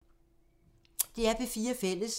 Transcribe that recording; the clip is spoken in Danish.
DR P4 Fælles